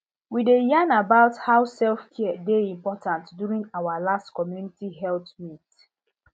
we dey yarn about how selfcare dey important during our last community health meet